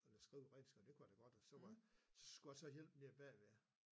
Eller skrive renskrive og det kunne jeg da godt og så var så skulle jeg så hjælpe nede bagved